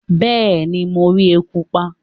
Bẹẹni mo ri eku pa